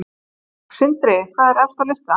Sindri: Hvað er efst á lista?